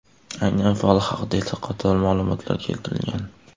Aynan fol haqida esa qator ma’lumotlar keltirilgan.